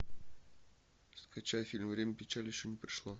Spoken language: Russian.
скачай фильм время печали еще не пришло